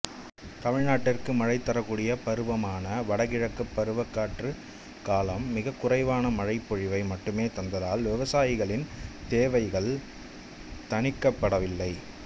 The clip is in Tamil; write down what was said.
தமிழ்நாட்டிற்கு மழை தரக்கூடிய பருவமான வடகிழக்குப் பருவக்காற்றுக் காலம் மிகக்குறைவான மழைப்பொழிவை மட்டுமே தந்ததால் விவசாயிகளின் தேவைகள் தணிக்கப்படவில்லை